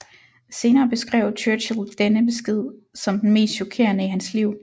Senere beskrev Churchill denne besked som den mest chokerende i hans liv